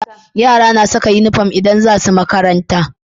Yara na Saka inufom idan zasu makaranta